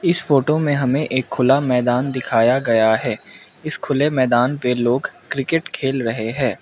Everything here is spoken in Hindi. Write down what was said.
इस फोटो में हमें एक खुला मैदान दिखाया गया है इस खुले मैदान पे लोग क्रिकेट खेल रहें है।